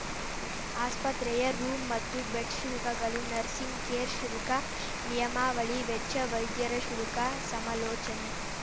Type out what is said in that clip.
ಆಸ್ಪತ್ರೆಯ ರೂಂ ಮತ್ತು ಬೆಡ್‌ ಶುಲ್ಕಗಳು ನರ್ಸಿಂಗ್‌ ಕೇರ್‌ ಶುಲ್ಕ ನಿಯಮಾವಳಿ ವೆಚ್ಚ ವೈದ್ಯರ ಶುಲ್ಕ ಸಮಾಲೋಚನೆ